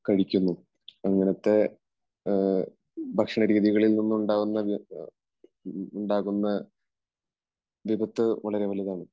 കഴിക്കുന്നു. അങ്ങനത്തെ ഭക്ഷണരീതികളിൽ നിന്നുണ്ടാകുന്ന, ഉണ്ടാകുന്ന വിപത്ത് വളരെ വലുതാണ്.